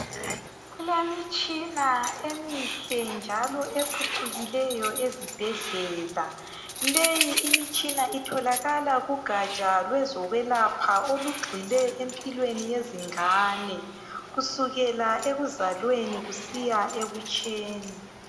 Kulemitshina emihle njalo ephucukileyo ezibhedlela. Leyi imitshina itholakala kugatsha lokwezokwelapha olugxile empilweni yezingane kusukela ekuzalweni kusiya ebutsheni.